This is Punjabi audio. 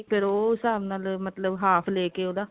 ਫੇਰ ਉਹ ਹਿਸਾਬ ਨਾਲ ਮਤਲਬ ਉਹਦਾ half ਲੇਕੇ ਉਹਦਾ